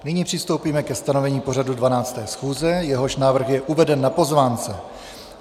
Nyní přistoupíme ke stanovení pořadu 12. schůze, jehož návrh je uveden na pozvánce.